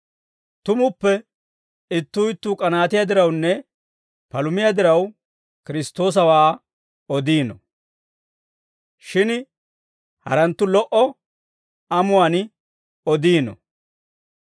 Tumuppe ittuu ittuu k'anaatiyaa dirawunne palumiyaa diraw, Kiristtoosawaa odiino; shin haranttu lo"o amuwaan odiino.